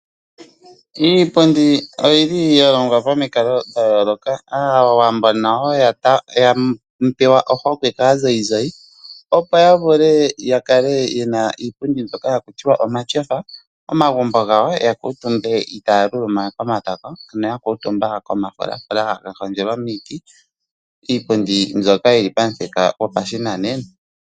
Iipundi oyi li ya longwa pomikalo dha yooloka. Aawambo nayo ya pewa ohokwe kaazayizayi, opo ya vule ya kale ye na iipundi mbyoka haku tiwa omatyofa, momagumbo gawo ya kuutumbe itaya luluma komatako, ano ya kuutumba komafulafula ga hondjelwa miiti. Iipundi mbyoka yi li pamuthika gopashinanena.